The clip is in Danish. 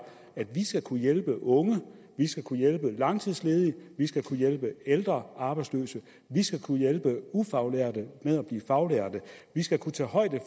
at vi skal kunne hjælpe unge vi skal kunne hjælpe langtidsledige vi skal kunne hjælpe ældre arbejdsløse vi skal kunne hjælpe ufaglærte med at blive faglærte vi skal kunne tage højde